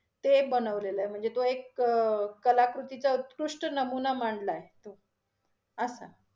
ते बनवलेलं आहे, म्हणजे तो एक क~ कलाकृतीचा उत्कृष्ट नमुना मांडला आहे, तो असं